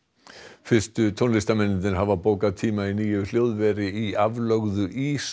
fyrstu tónlistarmennirnir hafa bókað tíma í nýju hljóðveri í aflögðu